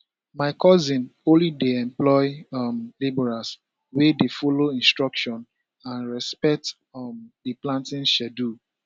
my cousin only dey employ um labourers wey dey follow instructions and respect um di planting schedule